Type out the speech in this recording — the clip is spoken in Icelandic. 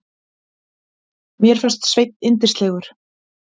Mér fannst Sveinn yndislegur.